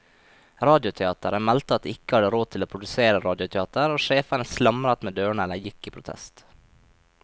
Radioteateret meldte at de ikke hadde råd til å produsere radioteater, og sjefene slamret med dørene eller gikk i protest.